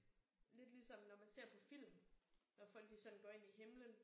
Lidt ligesom når man ser på film når folk de sådan går ind i himlen